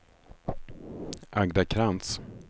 Agda Krantz